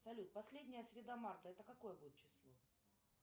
салют последняя среда марта это какое будет число